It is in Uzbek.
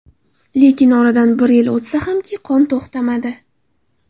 Lekin oradan bir yil o‘tsa hamki, qon to‘xtamadi.